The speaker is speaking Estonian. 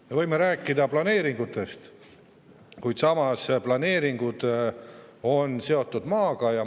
Me võime rääkida planeeringutest, kuid planeeringud on seotud maaga.